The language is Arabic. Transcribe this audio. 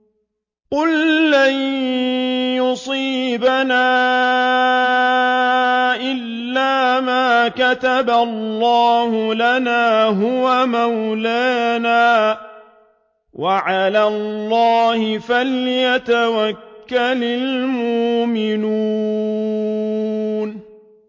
قُل لَّن يُصِيبَنَا إِلَّا مَا كَتَبَ اللَّهُ لَنَا هُوَ مَوْلَانَا ۚ وَعَلَى اللَّهِ فَلْيَتَوَكَّلِ الْمُؤْمِنُونَ